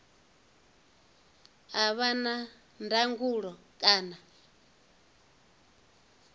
a vha na ndangulo kana